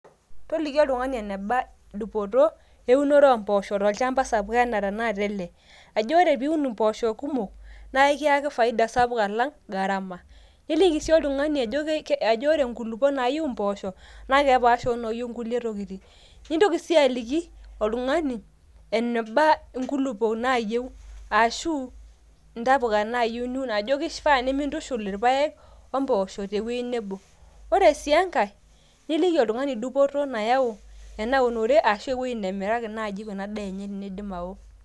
Toliki oltungani eneba dupoto eunore oompoosho tolchamba sapuk anaa tanakata ele ,ajo ore pee iun impoosho naa ekiyaki faida sapuk alang gharama niliki sii oltungani ajo ore nkulupuok naayieu impoosho naa kepaasha onoyieu inkulie tokitin ,nintoki sii aliki oltungani eneba nkulupuoki naayieu ashu ntapuka naayieu, ajo kifaa nimintushul irpaek ompoosho tewuei nebo. ore sii enkae niliki oltungani dupoto ena unore ashu ewuei nebiraki ena daa enye tenidip ao .